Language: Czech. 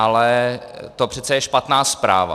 Ale to přece je špatná zpráva.